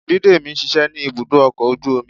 bidemi ń ṣiṣẹ ni ibudo ọkọ ojú omí.